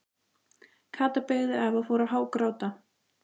Kata beygði af og fór að hágráta.